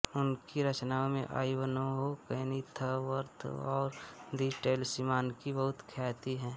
उनकी रचनाओं में आइवनहो केनिथवर्थऔर दि टैलिस्मानकी बहुत ख्याति है